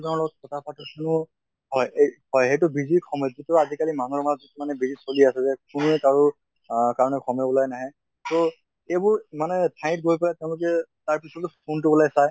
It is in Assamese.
জনৰ লগত কথা পাতো হয় এই হয় এইটো busy সময়্টোতো আজি কালি মানুহৰ মাজত মানে বেছি চলি আছে যে কোনেও কাৰো আহ কাৰণে সময় ওলাই নাহে। তʼ এইবোৰ মানে ঠাইত হৈ পালে তেওঁলোকে তাৰ পিছতো phone টো ওলাই চায়